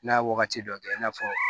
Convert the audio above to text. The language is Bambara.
N'a ye wagati dɔ kɛ i n'a fɔ